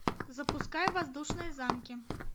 запускай воздушные замки